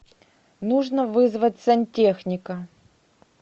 нужно вызвать сантехника